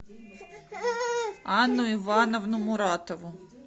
анну ивановну муратову